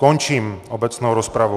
Končím obecnou rozpravu.